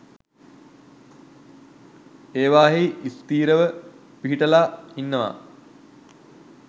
ඒවායෙහි ස්ථීරව පිහිටලා ඉන්නවා